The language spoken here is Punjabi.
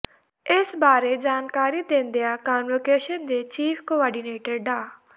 ਇਸ ਬਾਰੇ ਜਾਣਕਾਰੀ ਦਿੰਦਿਆਂ ਕਾਨਵੋਕੇਸ਼ਨ ਦੇ ਚੀਫ ਕੋਆਰਡੀਨੇਟਰ ਡਾ